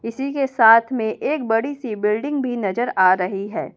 इसी के साथ में एक बड़ी बिल्डिंग भी नजर आ रही है।